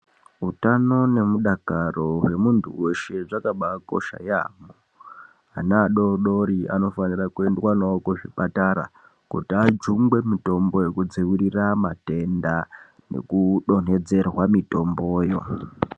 Utano nemudakaro hwemuntu weshe zvakabakosha yaamho. Ana adori dori anofanira kuendwa nawo kuzvipatara kuti ajungwe mitombo yekudziirira matenda neku donhedzerwa mitombo.